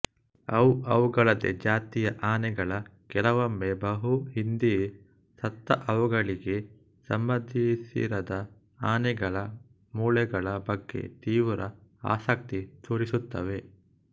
ಅವು ಅವುಗಳದೇ ಜಾತಿಯ ಆನೆಗಳ ಕೆಲವೊಮ್ಮೆ ಬಹುಹಿಂದೆಯೇ ಸತ್ತ ಅವುಗಳಿಗೆ ಸಂಬಂಧಿಸಿರದ ಆನೆಗಳ ಮೂಳೆಗಳ ಬಗ್ಗೆ ತೀವ್ರ ಆಸಕ್ತಿ ತೋರಿಸುತ್ತವೆ